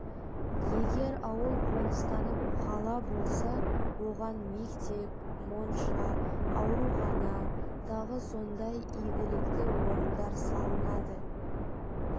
егер ауыл қоныстанып қала болса оған мектеп монша аурухана тағы сондай игілікті орындар салынады